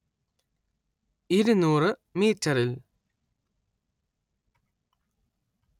ഇരുന്നൂറ്‌ മീറ്ററിൽ